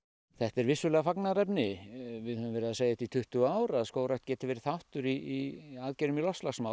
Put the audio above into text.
þetta er vissulega fagnaðarefni við höfum verið að segja þetta í tuttugu ár að skógrækt geti verið þáttur í aðgerðum í loftslagsmálum